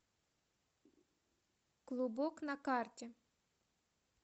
клубок на карте